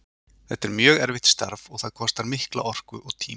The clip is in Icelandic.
Þetta er mjög erfitt starf og það kostar mikla orku og tíma.